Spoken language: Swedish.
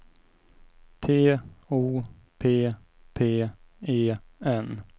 T O P P E N